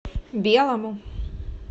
белому